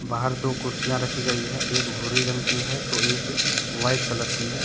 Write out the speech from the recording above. बाहर दो कुर्सियां रखी गई है एक भूरे रंग की है तो एक वाइट कलर की है।